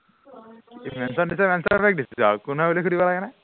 mention দিছে mention back দিছো আৰু কোন হয় বুলি সুধিব লাগে নে